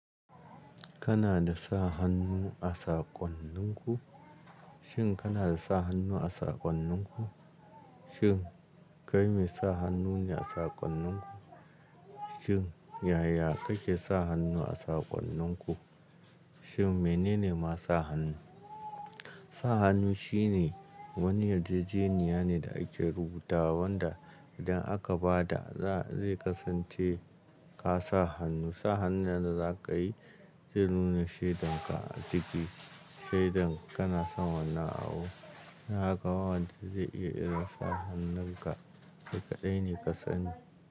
Kana da sa hannu a saƙonninku? Shin kana sa hannu a saƙonninku? Shin kai mai sa hannu ne a saƙonninku? Shin yaya kake sa hannu a saƙonninku? Shin menene masa hannu? Sa hannu shine wani yarjejeniya ne da ake rubuta wanda idan aka ba da zai kasance ka sa hannu. Sa hannayen da za ka yi zai nuna shaidarka a ciki, shaidar kana san wannan abu. Haka wanda zai iya iya sa hannunka, to kaɗai ne ka sani.